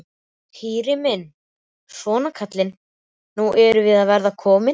Týri minn, svona kallinn, nú erum við að verða komin.